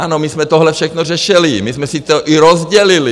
Ano, my jsme tohle všechno řešili, my jsme si to i rozdělili.